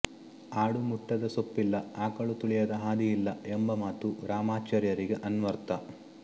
ಆಡು ಮುಟ್ಟದ ಸೊಪ್ಪಿಲ್ಲ ಆಕಳು ತುಳಿಯದ ಹಾದಿಯಿಲ್ಲ ಎಂಬ ಮಾತು ರಾಮಾಚಾರ್ಯರಿಗೆ ಅನ್ವರ್ಥ